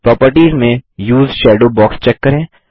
properties में उसे shadow box check करें